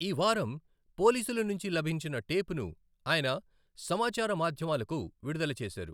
ఈ వారం పోలీసుల నుంచి లభించిన టేపును ఆయన సమాచార మాధ్యమాలకు విడుదల చేశారు.